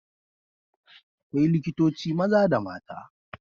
Akwai likitoci maza da mata.